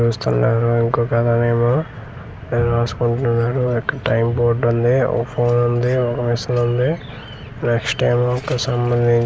ఇంకొక్క అతను ఏమో ఏదో రాసుకుంటున్నాడు అక్కడ టైమ్ బోర్డ్ ఉంది వ పోన్ ఉంది ఒక మెషీన్ ఉంది నెక్స్ట్ ఏమో ఒక సంబందించి హౌస్ ని .